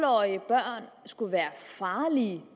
årige børn skulle være farlige